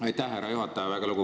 Aitäh, härra juhataja!